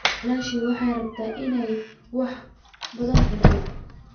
Walaashaa waxay rabtaa inay wax badan cunto